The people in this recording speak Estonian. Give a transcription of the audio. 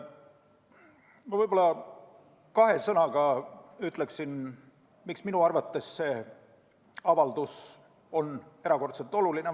Ma võib-olla kahe sõnaga ütlen, miks minu arvates see avaldus on erakordselt oluline.